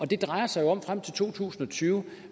det drejer sig jo frem til to tusind og tyve